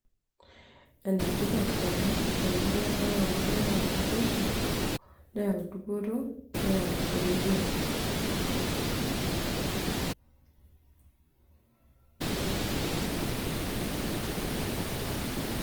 ene tipat ena te murua ang' amu keyau naboisho, neyau dupoto, neyau eretoto